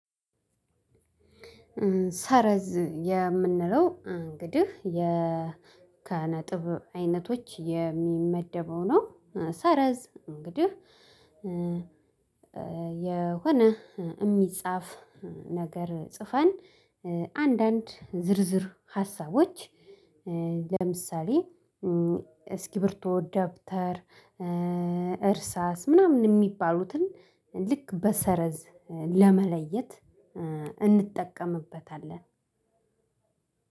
ስእረዝ የምንለው እንግዲህ ብ ከነጥብ አይነቶች የሚመደበው ነው ሰረዝ እንግዲህ የሆነ እሚጽፍ ነገር ጽፈን አንድአንድ ዝርዝር ሃስቦች ለምሳሌ እስክብሪቶ፣ ደብተር እርሳስ ምናምን የሚባሉትን ልክ በሰረዝ ለመለየት እንጠቀምበታለን።